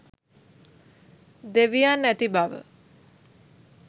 දෙවියන් ඇති බව